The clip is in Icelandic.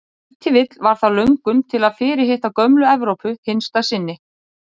Ef til vill var það löngun til að fyrirhitta gömlu Evrópu hinsta sinni.